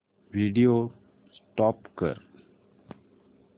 video stop कर